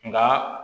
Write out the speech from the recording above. Nka